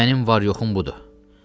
Mənim var-yoxum budur.